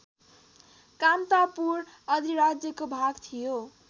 कामतापुर अधिराज्यको भाग थियो